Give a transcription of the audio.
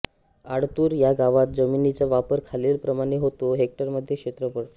आळतूर ह्या गावात जमिनीचा वापर खालीलप्रमाणे होतो हेक्टरमध्ये क्षेत्रफळ